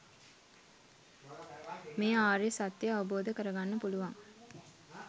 මේ ආර්ය සත්‍යය අවබෝධ කරගන්න පුළුවන්.